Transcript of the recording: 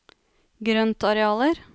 grøntarealer